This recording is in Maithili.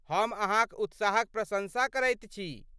हम अहाँक उत्साहक प्रशंसा करैत छी।